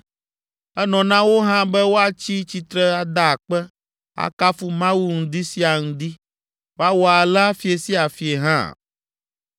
Enɔ na wo hã be woatsi tsitre ada akpe, akafu Mawu ŋdi sia ŋdi. Woawɔ alea fiẽ sia fiẽ hã.